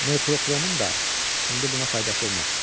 Merkuroxromun da indi buna faydası olmaz.